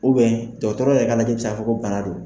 dɔgɔtɔrɔ yɛrɛ ka lajɛli be se ka fɔ ko bana don.